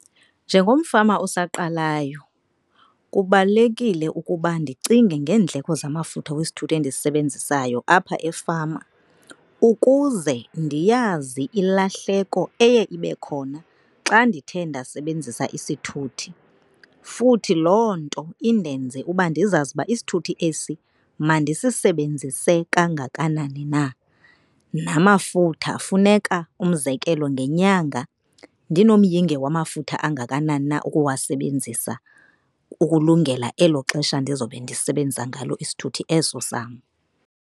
Njengomfama osaqalayo, kubalulekile ukuba ndicinge ngeendleko zamafutha wesithuthi endisisebenzisayo apha efama ukuze ndiyazi ilahleko eye ibe khona xa ndithe ndasebenzisa isithuthi. Futhi loo nto indenze uba ndizazi ukuba isithuthi esi mandisisebenzise kangakanani na. Namafutha funeka umzekelo ngenyanga ndinomyinge wamafutha angakanani na ukuwasebenzisa ukulungela elo xesha ndizobe ndisebenzisa ngalo isithuthi eso sam.